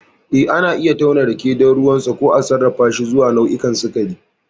Eh, ana iya tauna rake don ruwansa, ko a sarrafashi zuwa nau'o'i sikari.